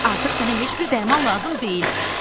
Artıq sənə heç bir dərman lazım deyil.